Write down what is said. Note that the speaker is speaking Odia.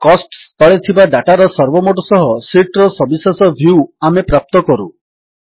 କୋଷ୍ଟସ ତଳେ ଥିବା ଡାଟାର ସର୍ବମୋଟ ସହ ଶୀଟ୍ ର ସବିଶେଷ ଭ୍ୟୁ ଆମେ ପ୍ରାପ୍ତ କରୁ